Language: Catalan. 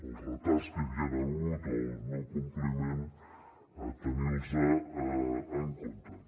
els retards que hi havien hagut o el no compliment tenir los en compte